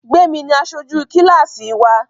Gbémi ni aṣojú kílásì wa